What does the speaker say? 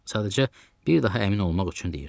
Sadəcə bir daha əmin olmaq üçün deyirdim.